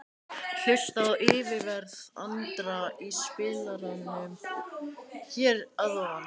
Hlustaðu á yfirferð Andra í spilaranum hér að ofan.